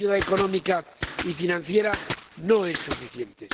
La ayuda económica y financiera no es suficiente.